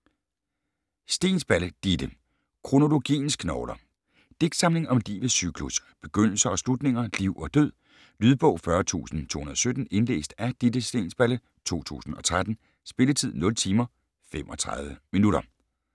Steensballe, Ditte: Kronologiens knogler Digtsamling om livets cyklus, begyndelser og slutninger, liv og død. Lydbog 40217 Indlæst af Ditte Steensballe, 2013. Spilletid: 0 timer, 35 minutter.